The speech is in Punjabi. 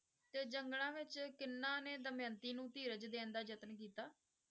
ਤੇ ਜੰਗਲਾਂ ਵਿੱਚ ਕਿਹਨਾਂ ਨੇ ਦਮਿਅੰਤੀ ਨੂੰ ਧੀਰਜ਼ ਦੇਣ ਦਾ ਯਤਨ ਕੀਤਾ?